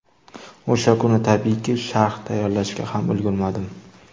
O‘sha kuni, tabiiyki, sharh tayyorlashga ham ulgurmadim.